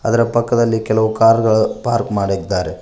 ಇದರ ಪಕ್ಕದಲ್ಲಿ ಕೆಲವು ಕಾರ್ ಗಳು ಪಾರ್ಕ್ ಮಾಡಿದ್ದಾರೆ.